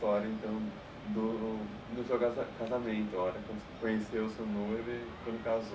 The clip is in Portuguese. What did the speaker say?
então do, do seu casa... casamento agora quando você conheceu o seu noivo e quando casou.